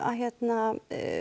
hérna